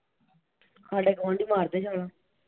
ਸਾਡੇ ਗੁਆਂਢੀ ਮਾਰਦੇ ਛਾਲਾਂ।